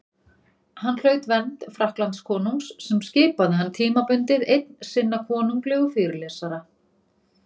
Hann hlaut vernd Frakklandskonungs sem skipaði hann, tímabundið, einn sinna konunglegu fyrirlesara.